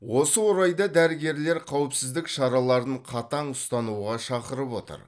осы орайда дәрігерлер қауіпсіздік шараларын қатаң ұстануға шақырып отыр